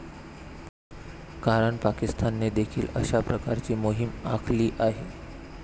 कारण पाकिस्तानने देखील अशा प्रकारची मोहिम आखली आहे.